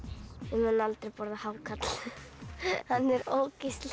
ég mun aldrei borða hákarl hann er ógeðslegur